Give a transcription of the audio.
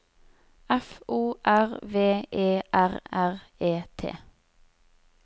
F O R V E R R E T